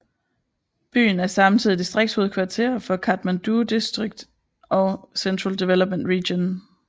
Byen er samtidig distriktshovedkvarter for Kathmandu District og for Central Development Region